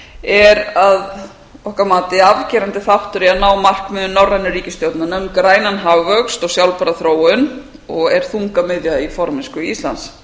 er að okkar mati afgerandi þáttur í að ná markmiðum norrænu ríkisstjórnanna um grænan hagvöxt og sjálfbæra þróun og er þungamiðja í formennsku íslands